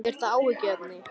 Er það áhyggjuefni?